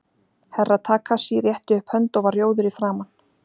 Herra Takashi rétti upp hönd og var rjóður í framan.